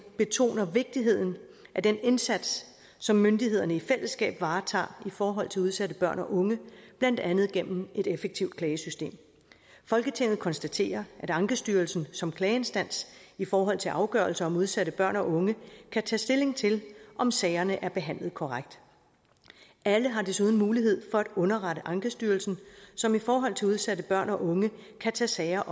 betoner vigtigheden af den indsats som myndighederne i fællesskab varetager i forhold til udsatte børn og unge blandt andet gennem et effektivt klagesystem folketinget konstaterer at ankestyrelsen som klageinstans i forhold til afgørelser om udsatte børn og unge kan tage stilling til om sagerne er behandlet korrekt alle har desuden mulighed for at underrette ankestyrelsen som i forhold til udsatte børn og unge kan tage sager